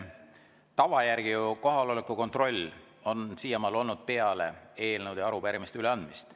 Tava järgi on kohaloleku kontroll siiamaani olnud peale eelnõude ja arupärimiste üleandmist.